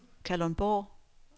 Kalundborg